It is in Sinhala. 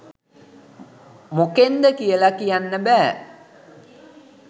මොකෙන්ද කියල කියන්න බෑ.